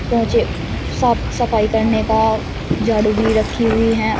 पोचे साफ सफाई करने का झाड़ू रखी हुई हैं और--